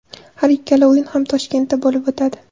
Har ikkala o‘yin ham Toshkentda bo‘lib o‘tadi.